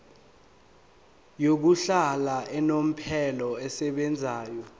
yokuhlala unomphela esebenzayo